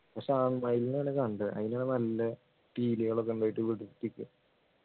പക്ഷേ ആ മയിലിനെ എവിടെയും കണ്ടത് അതിനു നല്ല പീലികൾ ഒക്കെ ഉണ്ടായിട്ടു വിടർത്തിയിട്ട്